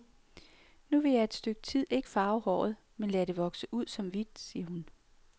Nu vil jeg et stykke tid ikke farve håret, men lade det vokse ud som hvidt, siger hun.